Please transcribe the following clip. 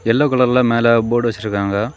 Yellow கலர்ல மேல board வச்சிருக்காங்க.